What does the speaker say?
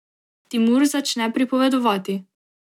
Timur začne pripovedovati.